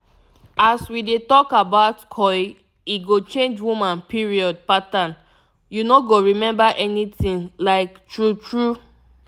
as we dey talk about coil e go change woman period patternu no go remember anything like true true